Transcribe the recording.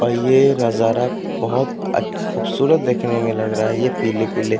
और ये नजारा बहोत अच खूबसूरत देखने में लग रहा है ये पीले-पीले --